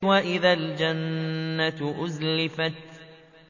وَإِذَا الْجَنَّةُ أُزْلِفَتْ